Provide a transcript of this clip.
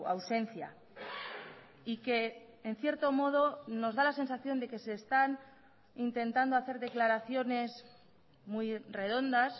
ausencia y que en cierto modo nos da la sensación de que se están intentando hacer declaraciones muy redondas